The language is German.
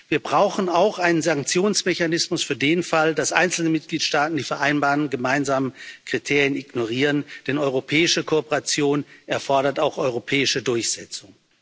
Wir brauchen auch einen Sanktionsmechanismus für den Fall, dass einzelne Mitgliedstaaten die vereinbarten gemeinsamen Kriterien ignorieren, denn europäische Kooperation erfordert auch europäische Durchsetzung.